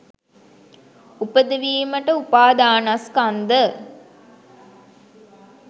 උපදවීමට උපාදානස්කන්ධ